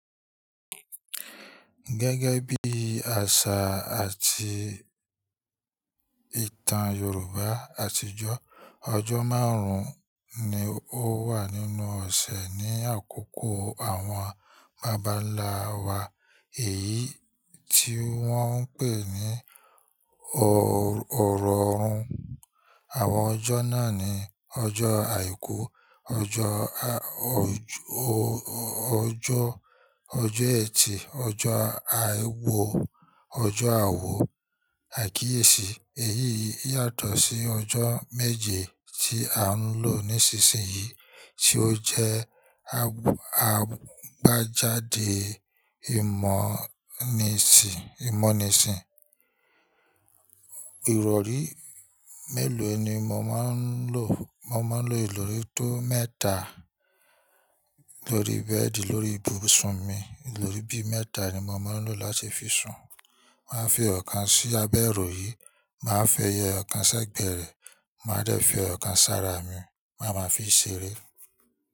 Gẹ́gẹ́ bí àṣà àti ìtàn Yorùbá àtijọ́, ọjọ́ márùn-ún ni ó wà nínú ọ̀sẹ̀ ní àkókò àwọn babanláwa. Èyí tí wọ́n ń pè ní ọrọọ̀run. Àwọn ọjọ́ náà ni ọjọ́ àìkú, ọjọ́ ọ̀jọ́, ọjọ́ ẹ̀tì, ọjọ́ àárọ̀, ọjọ́ ààwọ̀, àìkíyèsí. Èyí yàtọ̀ sí ọjọ́ méje tí à ń lò nísinsìnyí tí ó jẹ́ àgbéjáde ìmọ̀níṣì. Ìrọ̀rí mélòó ni mo máa ń lò? Mo máa ń lo ìròrí tó mẹ́ta. Ìlòrí bẹ́ẹ̀di lórí ibùsùn mi. Ìròrí bí mẹ́ta ni mo máa ń lò láti fi sùn. Màá fi ọ̀kan sí abẹ́ ìròyìn, màá fi ẹyẹ ọ̀kan sẹ́gbẹ̀ẹ́ rẹ, màá dẹ̀ fi ọ̀kan sára mi, màá máa fií ṣeré.